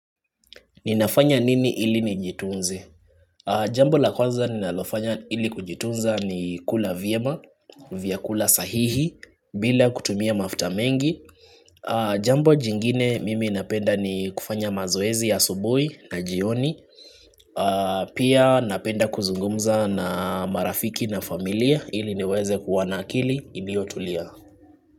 Ninafanya nini ili nijitunze? Jambo la kwanza ninalofanya ili kujitunza ni kula vyema, vyakula sahihi, bila kutumia mafuta mengi. Jambo jingine mimi napenda ni kufanya mazoezi ya asubui na jioni. Pia napenda kuzungumza na marafiki na familia ili niweze kuwa na akili iliotulia.